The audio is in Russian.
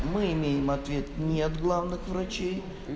мы имеем ответ не от главных врачей